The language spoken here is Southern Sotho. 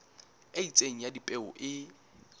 e itseng ya dipeo e